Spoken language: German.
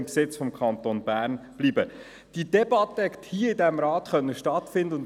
Wer das Postulat abschreiben will, stimmt Ja, wer dies ablehnt, stimmt Nein.